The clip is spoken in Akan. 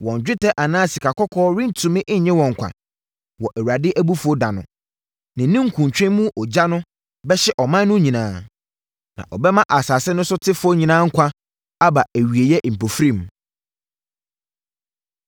Wɔn dwetɛ anaa sikakɔkɔɔ rentumi nnye wɔn nkwa wɔ Awurade abufuo ɛda no.” Ne ninkuntwe mu ogya no bɛhye ɔman no nyinaa, na ɔbɛma asase no so tefoɔ nyinaa nkwa aba awieeɛ mpofirim.